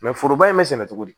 foroba in be sɛnɛ cogo di